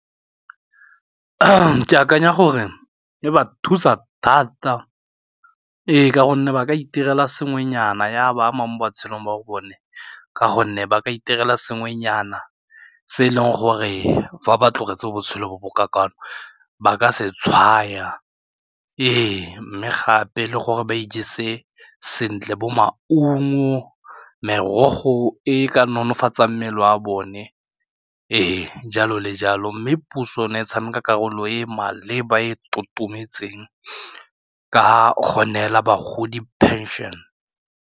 Ke akanya gore e ba thusa thata, ee ka gonne ba itirela sengwenyana ya ba ama mo matshelong a bone ka gonne ba ka itirela sengwenyana se e leng gore fa ba tlogetse botshelo bo bo ka kwano ba ka se tshwaya ee mme gape le gore ba ijese sentle bo maungo merogo e ka nonofatsa mmele wa bone ee jalo le jalo mme puso ne e tshameka karolo e e maleba e e totometseng ka gonne fela bagodi pension.